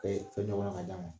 Ka fɛn jɔ kan ka d'a ma